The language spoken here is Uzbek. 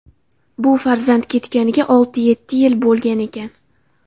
Bu farzand ketganiga olti-yetti yil bo‘lgan ekan.